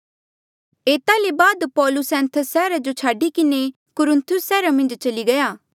एता ले पौलुस एथेंस सैहरा जो छाडी किन्हें कुरिन्थुस सैहरा जो चली गया